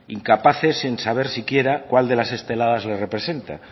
incapaces en saber siquiera cuál de las esteladas les representa